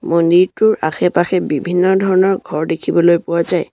মন্দিৰটোৰ আশে-পাশে বিভিন্ন ধৰণৰ ঘৰ দেখিবলৈ পোৱা যায়।